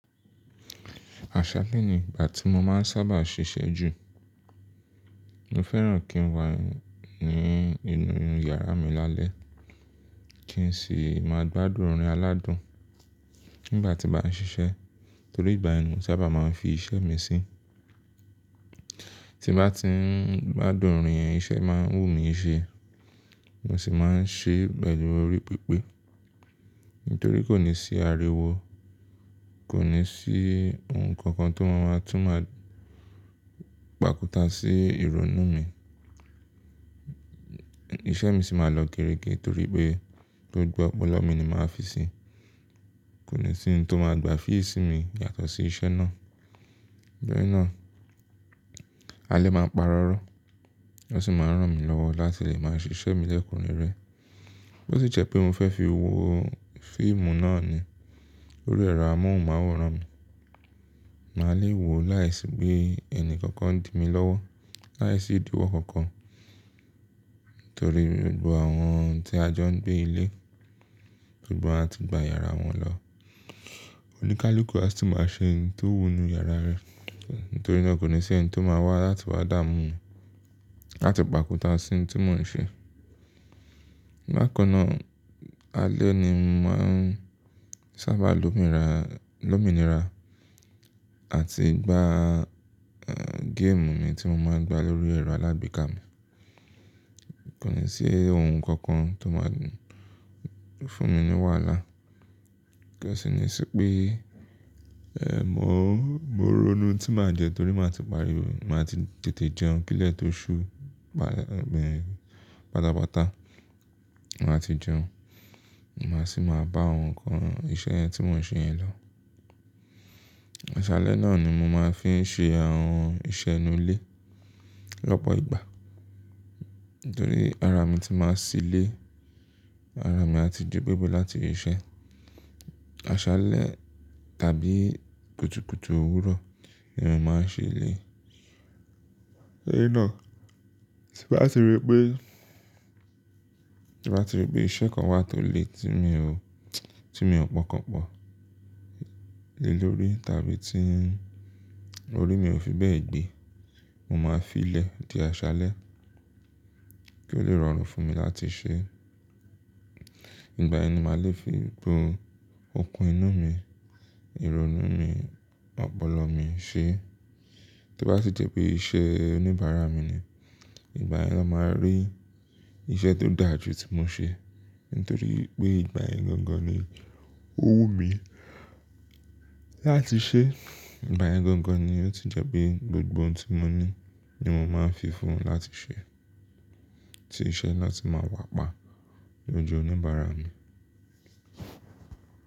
Àṣálẹ́ ni ìgbà tí mo máa ń sábà ṣiṣẹ́ jù. Mo fẹ́ràn kí n wà ní inú yàrá mi lálẹ́ kí n sì máa gbádùn orin aládùn nígbà tí n bàn ṣiṣẹ́. Nítorí ìgbà yẹn ni mo sábà máa ń fi iṣẹ́ mi sí. Tí n bá ti ń gbádùn orin yẹn, iṣẹ́ máa ń wù mí ṣe. Mo sì máa ń ṣe pẹ̀lú orí pípé. Nítorí kò ní sí ariwo, kò ní sí ohun kankan tó máa tún máa pàkúta sí ìrònú mi. Iṣẹ́ mi sì máa lọ géregé torí pé gbogbo ọpọlọ mi ni màá fi sí i. Kò ní sí ohun tó máa gbà fíìsì mi yàtọ̀ sí iṣẹ́ náà. Ìgbà yen náà, alẹ́ máa ń parọ́rọ́, ó sì máa ń rán mi lọ́wọ́ láti lè máa ṣiṣẹ́ mi lẹ́kùn rẹ̀re. Bí ó ti jẹ́ pé mo fẹ́ fi wo fíìmù náà ni, lórí ẹ̀rọ amóhùnmáwòrán mi, màá le è wo láìsí pé ẹni kankan dì mi lọ́wọ́, láìsí ìdíwọ́ kankan. Nítorí gbogbo àwọn tí a jọ ń gbé ilé, gbogbo wọn ti gba yàrá wọn lọ. Oníkálukú a sì máa ṣe ohun tó wù ú ní yàrá rẹ̀. Nítorí náà kò ní sí ẹni tó máa wá láti wá dààmú láti pàkúta sí ohun tí mò ń ṣe. Bákan náà, alẹ́ ni mo máa ń sábà lomi ra-- l'óminira àti gbá, eh, géèmù mi tí mo máa ń gbá lórí ẹ̀rọ alágbekà mi. Kò ní sí ohun kankan tó máa fún mi ní wàhálà. Kí ó sì ní sí pé, eh, mo, mo ronú tí màá jẹ torí màá ti parí o, màá ti tètè jẹun kí ilẹ̀ tó ṣú, bà-- bẹ́ẹ̀, pátápátá. Màá ti jẹun, màá sì máa bá ohun kan iṣẹ́ yẹn tí mò ń ṣe yẹn lọ. Àṣálẹ́ náà ni mo máa ń fi ń ṣe àwọn iṣẹ́ inú ilé lọ́pọ̀ ìgbà. Nítorí ara mi tí màá ṣí ilé, ara mi a ti gu gbegbe láti i iṣẹ́. Àṣálẹ́ tàbí kùtùkùtù òwúrọ̀ ni mo máa ń ṣe eléyìí. Eléyìí náà, tí n bá ti rí pé, tí n bá ti rí pé iṣẹ́ kan wà tó le tí mi ò tí mi ò pọ́nkànpọ́n lé lórí tàbí tí orí mi ò fi bẹ́ẹ̀ gbé, mo máa fi ilẹ̀ di àṣálẹ́ kí ó lè rọrùn fún mi láti ṣe. Ìgbà yẹn ni màá le fi gbogbo okùn inú mi, ìrònú mi, ọpọlọ mi ṣe. Tí ó bá sì jẹ́ pé iṣẹ́ oníbàárà mi ni, ìgbà yẹn ni wọ́n máa rí iṣẹ́ tó dà ju tí mo ṣe. Nítorí pé ìgbà yẹn gangan ni ó wù mí láti ṣe. Ìgbà yẹn gangan ni ó tún jẹ́ pé gbogbo ohun tí mo ní ni mo máa ń fi fún un láti ṣe. Tí iṣẹ́ náà tí máa wà pa ní ojú oníbàárà mi.